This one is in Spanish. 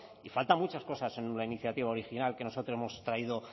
y faltan muchas cosas en una iniciativa original que nosotros hemos traído